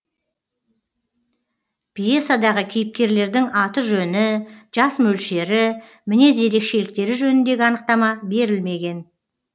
пьесадағы кейіпкерлердің аты жөні жас мөлшері мінез ерекшеліктері жөніндегі анықтама берілмеген